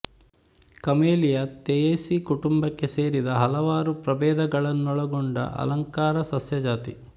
camellia Theaceae ಕುಟುಂಬಕ್ಕೆ ಸೇರಿದ ಹಲವಾರು ಪ್ರಭೇದಗಳನ್ನೊಳಗೊಂಡ ಅಲಂಕಾರ ಸಸ್ಯ ಜಾತಿ